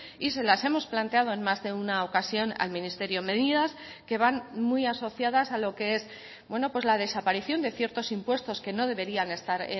y se las hemos planteado en más de una ocasión al ministerio medidas que van muy asociadas a lo que es la desaparición de ciertos impuestos que no deberían estar